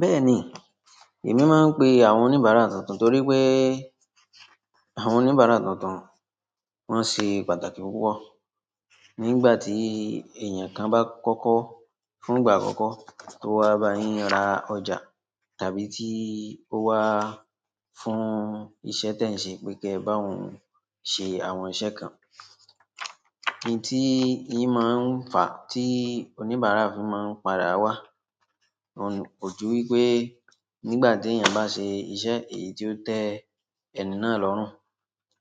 Bẹ́ẹ̀ni, èmi máa ń pe àwọn oníbàárà tuntun torí pé, àwọn oníbàárà tuntun wọ́n ṣe pàtàkì púpọ̀. Nígbà tí èèyàn kan bá kọ́kọ́, fún ìgbà àkọ́kọ́ tó wá bá yín ra ọjà, tàbí tí ó wá fún iṣẹ́ tẹ̀ ń ṣe pé kí ẹ bá òun ṣe àwọn iṣẹ́ kan. Nti ti o maa n fa ti onibara fi maa n padà wa oun ni òjú wípé nígbà tí èèyàn bá ṣe iṣẹ́ èyí tí ó tẹ́ ẹni náà lọ́rùn,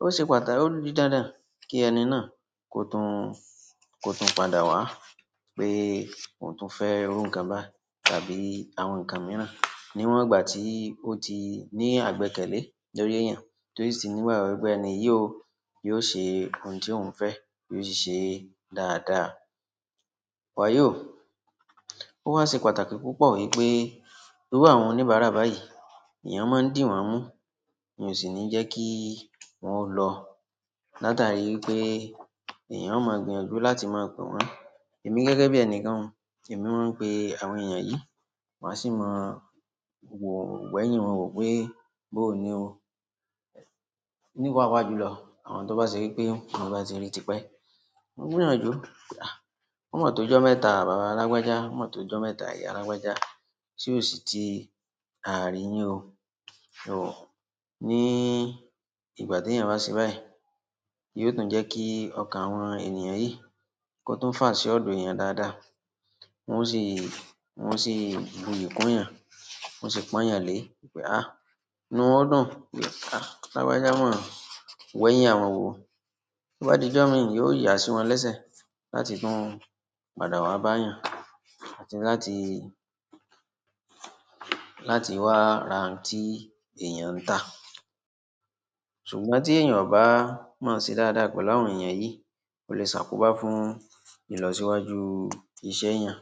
ó ṣe pàtàkì, ó ní dandan kí ẹni náà kó tún, kó tún padà wá pé òun tún fẹ́ iru nǹkan báyi tàbí àwọn nǹkan mìíràn. Níwọn gbà tí ó ti ní àgbẹkẹle lórí ẹ̀yàn tó sì ti nígbagbọ pé ẹni yìí ò, yóò ṣe ohun tí òun fẹ́, yóò sì ṣe dáadáa. Wàyọ́, ó wá ṣe pàtàkì púpọ̀ wípé, iru àwọn oníbàárà báyìí, èèyàn máa ń dìwọ́n mú, èyan o sì ni jẹ́ kí wọ́n o lọ. Láàtáàri wípé èèyàn ó máa gbìyànjú láti máa pè wọ́n. Èmi gẹ́gẹ́ bí ẹnikan, èmi máa ń pe àwọn èèyàn yìí, maa sì mọ wò wẹ́yín wọn wò pé, bó ní o. Ni paapaa julọ àwọn to ba se wípé mo ba ti ri tipẹ, maa gbìyànjú. O mọ́ tó ọjọ́ mẹ́ta bàbá alágbájá, mọ́ tó ọjọ́ mẹ́ta ìyá alágbájá, se ò sì ti àríyín o. Oh! Ní ìgbà tí èèyàn bá ṣe báyìí, yóò tún jẹ́ kí ọkàn àwọn ènìyàn yìí kó tún fà sí ọ̀dọ̀ èèyàn dáadáa. Wọn ò sì, wọ́n ò sì buyì kún èèyàn, wọ́n sì pọn èèyàn lé e wípé, ah! Inú ọ́ dùn wípé, ah! Alágbájá mọ́, wẹ́yín àwọn wò. Bí ó bá di ọjọ́ mii, yóò yà sí wọn lésẹ̀ láti tún padà wá bá èèyàn, àti láti, láti wá ra n tí èèyàn ń tà. Ṣùgbọ́n tí èèyàn ò bá mọ̀ sí dáadáa pẹ̀lú àwọn èèyàn yìí, o lè ṣàkóbá fún ìlọsíwájú iṣẹ́ èèyàn.